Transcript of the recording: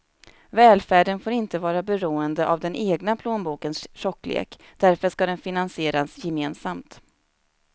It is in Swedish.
Välfärden får inte vara beroende av den egna plånbokens tjocklek, därför ska den finansieras gemensamt.